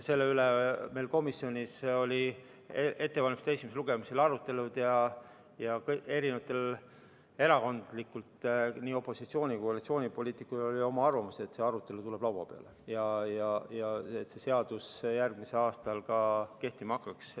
Selle üle olid meil komisjonis esimese lugemise ettevalmistamisel arutelud ja eri erakondadel, opositsiooni- ja koalitsioonipoliitikutel oli arvamus, et see arutelu tuleb laua peale, et see seadus järgmisel aastal kehtima hakkaks.